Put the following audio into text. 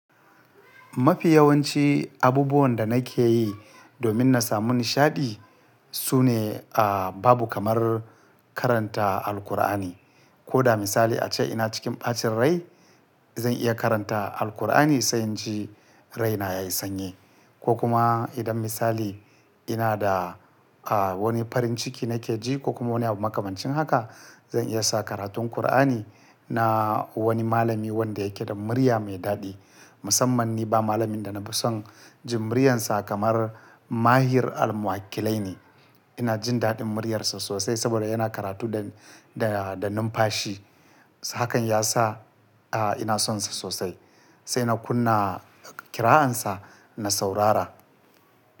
Mafi yawanci abubuwan da nake yi domin na samu nishaɗi su ne, ah, babu kamar karanta Alqur'ani. Ko da misali ace ina cikin ɓacin rai, zan iya karanta Alqur'ani sai in ji raina ya yi sanyi. Ko kuma idan misali ina da, ah, wani farin ciki nake ji ko kuma wani makamancin haka, zan iya sa karatun Qur'ani na wani malami wanda yake da murya mai daɗi. Musamman ni ba malamin da na fi son jin muryarsa kamar Mahir Almuhalkilay ni. Ina jin daɗin muryarsa sosai saboda yana karatu da, da, da numfashi. Hakan ya sa, ah, ina son sa sosai sai na kunna qira'ansa na saurara.